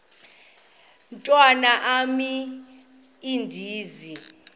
mntwan am andizi